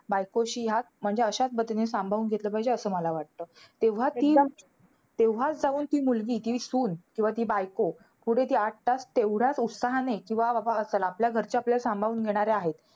बायकोशी ह्याच म्हणजे अश्याच पद्धतीने सांभाळून घेतलं पाहिजे, असं मला वाटतं. तेव्हा ती तेव्हाच जाऊन ती मुलगी ती सून किंवा ती बायको, पुढे ती आठ तास तेवढ्याच उत्साहाने, कि बाबा हा चला आपल्या घरचे आपल्याला सांभाळून घेणारे आहेत.